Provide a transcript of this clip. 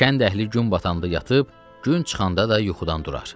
Kənd əhli gün batanda yatıb, gün çıxanda da yuxudan durar.